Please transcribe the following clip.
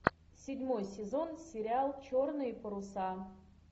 седьмой сезон сериал черные паруса